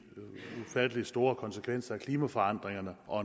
ufattelig store konsekvenser af klimaforandringerne og